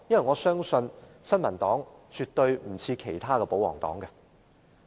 我相信新民黨與其他保皇黨不同。